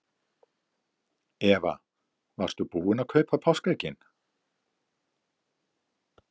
Eva: Varstu búin að kaupa páskaeggin?